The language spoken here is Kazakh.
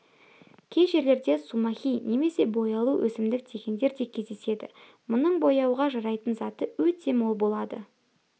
кей жерлерде сумахи немесе бояулы өсімдік дегендер де кездеседі мұның бояуға жарайтын заты өте мол болады